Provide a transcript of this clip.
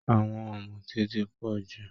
Àwọn ọ̀mùtí ti pọ̀ jù